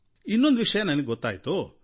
ಇನ್ನೊಂದು ವಿಷಯ ನನಗೆ ಗೊತ್ತಾಯ್ತು